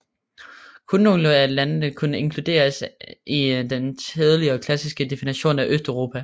Kun nogle af landene kan inkluderes i den tidligere klassiske definition af Østeuropa